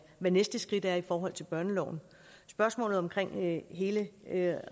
hvad næste skridt er i forhold til børneloven spørgsmålet om hele